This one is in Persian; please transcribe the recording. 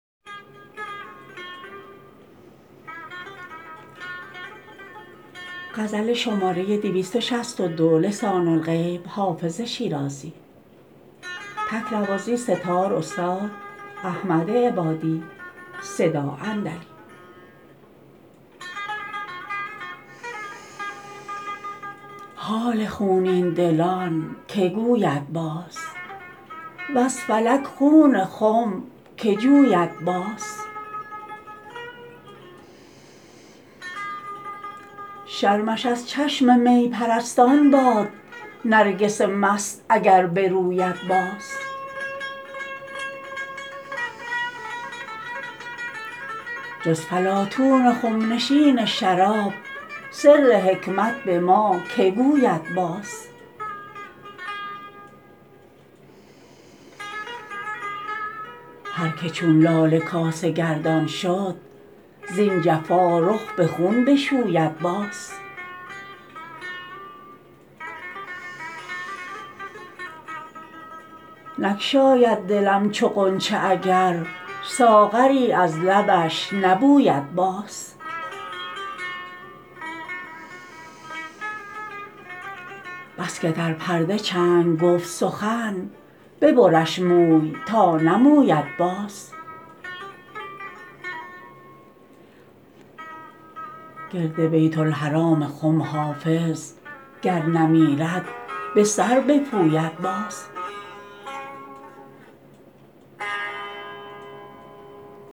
حال خونین دلان که گوید باز وز فلک خون خم که جوید باز شرمش از چشم می پرستان باد نرگس مست اگر بروید باز جز فلاطون خم نشین شراب سر حکمت به ما که گوید باز هر که چون لاله کاسه گردان شد زین جفا رخ به خون بشوید باز نگشاید دلم چو غنچه اگر ساغری از لبش نبوید باز بس که در پرده چنگ گفت سخن ببرش موی تا نموید باز گرد بیت الحرام خم حافظ گر نمیرد به سر بپوید باز